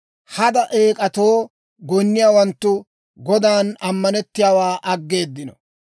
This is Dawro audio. Hada eek'atoo goynniyaawaanttu GODAN ammanettiyaawaa aggeeddino.